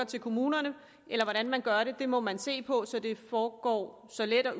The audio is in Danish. til kommunerne eller hvordan man gør det er noget man må se på så det foregår så let og